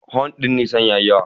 Horn din Nissan ya yi yawa.